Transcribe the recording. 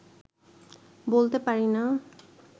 বলতে পারি না